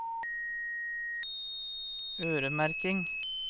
øremerking